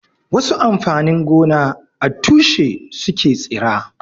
Wasu amfanin gona a tushe su ke tsira.